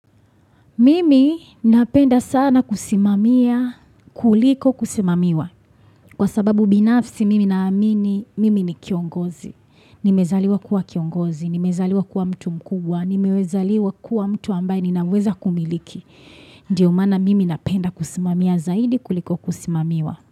Mimi napenda sana kusimamia, kuliko kusimamiwa. Kwa sababu binafsi, mimi naamini, mimi ni kiongozi. Nimezaliwa kuwa kiongozi, nimezaliwa kuwa mtu mkubwa, nimezaliwa kuwa mtu ambaye ninaweza kumiliki. Ndiyo maana mimi napenda kusimamia zaidi kuliko kusimamiwa.